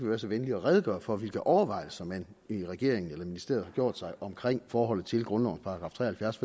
være så venlig at redegøre for hvilke overvejelser man i regeringen eller ministeriet har gjort sig omkring forholdet til grundlovens § tre og halvfjerds